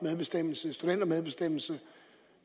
studentermedbestemmelse